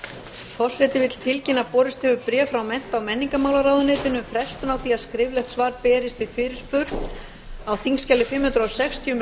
forseti vill tilkynna að borist hefur bréf frá mennta og menningamrálaráðuneytinu um frestun á því að skriflegt svar berist við fyrirspurn á þingskjali fimm hundruð sextíu um